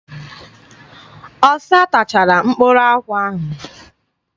Ọsa tachara mkpụrụ nkwụ ahụ.